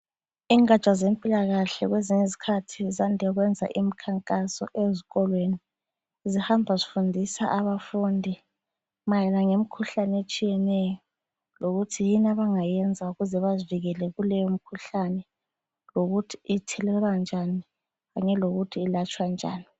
Ingatsha zempilakahle kwezinye izikhathi zande ukuyenza imkhankaso ezikolweni, zihamba zifundisa abafundi mayelana lemikhuhlane etshiyeneyo lokuthi yini abangayenza ukuze bazivikele kuleyo mikhuhlane lokuthi ithelelwa njani kanye lokuthi ulatshwa njani.